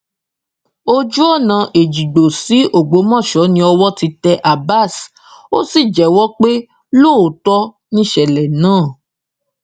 ojúọnà ẹjígbò sí ọgbọmọsọ ni owó ti tẹ abbas ó sì jẹwọ pé lóòótọ nìṣẹlẹ náà